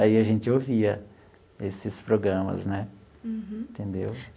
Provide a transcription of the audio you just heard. Aí a gente ouvia esses programas né. Uhum. Entendeu?